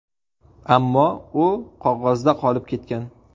Ammo u qog‘ozda qolib ketgan.